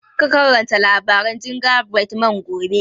Kar ka karanta labarin Gingerbread man gobe!